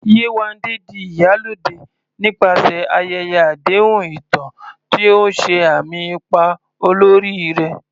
Yewande di "Iyalode" nípasẹ̀ ayẹyẹ àdéhùn ìtàn, tí ó ṣe àmì ipa olórí rẹ̀.